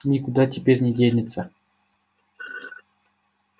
никуда теперь не денется